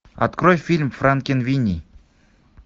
открой фильм франкенвини